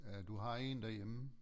Ja du har én derhjemme